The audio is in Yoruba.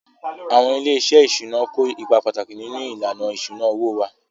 Àwọn ilé-iṣẹ́ ìṣúná kó ipa pàtàkì nínú ìlànà ìṣúná owó wa